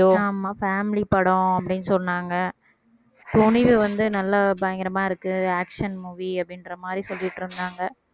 ஆமா family படம் அப்படின்னு சொன்னாங்க துணிவு வந்து நல்லா பயங்கரமா இருக்கு action movie அப்படின்றமாதிரி சொல்லிட்டு இருந்தாங்க